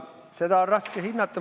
Seda on raske hinnata.